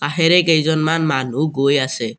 কাষেৰে কেইজনমান মানুহ গৈ আছে।